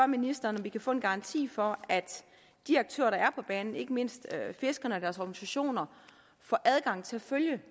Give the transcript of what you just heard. ministeren om vi kan få en garanti for at de aktører der er på banen ikke mindst fiskerne og deres organisationer får adgang til at følge